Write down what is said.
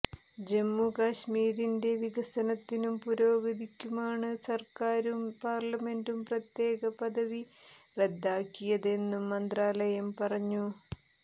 ജമ്മുകശ്മിരിന്റെ വികസനത്തിനും പുരോഗതിക്കുമാണ് സര്ക്കാരും പാര്ലമെന്റും പ്രത്യേക പദവി റദ്ദാക്കിയതെന്നും മന്ത്രാലയം പറഞ്ഞു